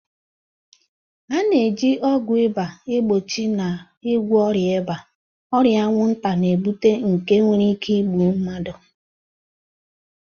A na-eji ọgwụ ịba egbochi na ịgwọ ọrịa ịba, ọrịa anwụnta na-ebute nke nwere ike igbu mmadụ.